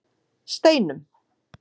Steinum